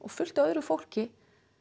fullt af öðru fólki